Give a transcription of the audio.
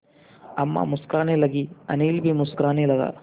अम्मा मुस्कराने लगीं अनिल भी मुस्कराने लगा